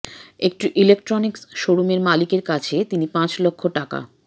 একটি ইলেক্ট্রনিকস শোরুমের মালিকের কাছে তিনি পাঁচ লক্ষ টাকা